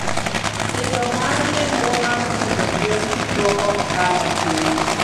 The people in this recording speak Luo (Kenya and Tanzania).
Idho mar nengo mar pidho gwen duoko ohala piny